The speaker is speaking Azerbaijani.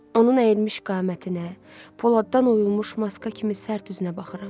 Onun əyilmiş qamətinə, poladdan oyulmuş maska kimi sərt üzünə baxıram.